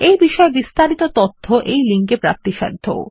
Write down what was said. এই বিষয়ে বিস্তারিত তথ্য এই লিঙ্কে প্রাপ্তিসাধ্য